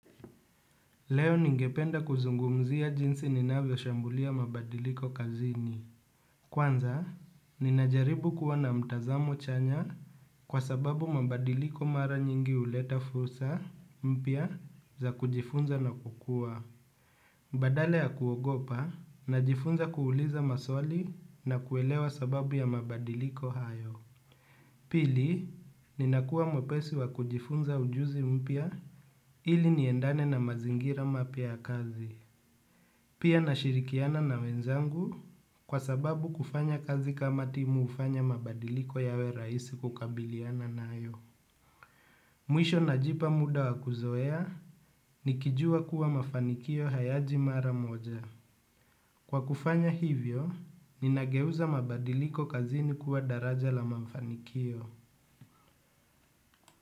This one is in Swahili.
Leo ningependa kuzungumzia jinsi ninavyoshambulia mabadiliko kazini. Kwanza, ninajaribu kuwa na mtazamo chanya kwa sababu mabadiliko mara nyingi huleta fursa mpya za kujifunza na kukua. Badala ya kuogopa najifunza kuuliza maswali na kuelewa sababu ya mabadiliko hayo. Pili, ninakua mwepesi wa kujifunza ujuzi mpya ili niendane na mazingira mapya ya kazi. Pia nashirikiana na wenzangu kwa sababu kufanya kazi kama timu hufanya mabadiliko yawe rahisi kukabiliana nayo. Mwisho najipa muda wa kuzoea nikijua kuwa mafanikio hayaji mara moja. Kwa kufanya hivyo, ninageuza mabadiliko kazini kuwa daraja la mafanikio.